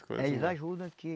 Eles ajudam aqui.